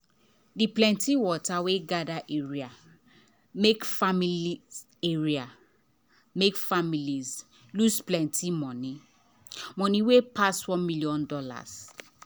the plenty water wey gather area make families area make families lose plenty money money wey pass $1 million.